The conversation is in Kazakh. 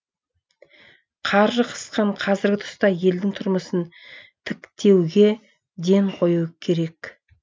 қаржы қысқан қазіргі тұста елдің тұрмысын тіктеуге ден қою керек